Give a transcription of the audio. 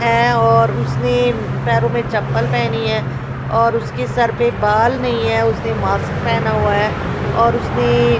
है और उसने पैरो में चप्पल पहनी है और उसके सर पर बाल नही है उसने मास्क पहना हुआ है और उसने --